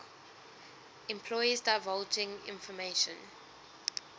employees divulging information